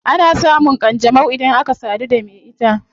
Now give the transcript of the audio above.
Ana samun kanjanau idan aka sadu da me ita